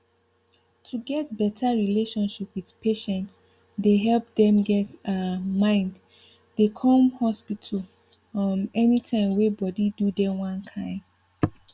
to get better relationship with patients dey help dem get um mind dey come hospital um any time wey body do dem one kind